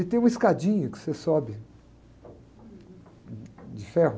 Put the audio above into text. E tem uma escadinha que você sobe de ferro.